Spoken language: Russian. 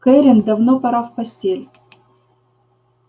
кэррин давно пора в постель